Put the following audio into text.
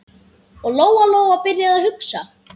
Og Lóa-Lóa byrjaði að hugsa.